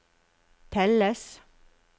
telles